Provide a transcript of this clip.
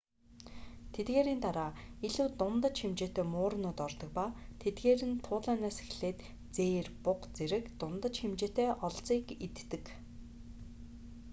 тэдгээрийн дараа илүү дундаж хэмжээтэй муурнууд ордог ба тэдгээр нь туулайнаас эхлээд зээр буга зэрэг дундаж хэмжээтэй олзыг иддэг